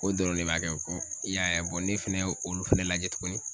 K'o dɔrɔn de b'a kɛ kɔ, i y'a ye ne fɛnɛ y'olu fɛnɛ lajɛ tuguni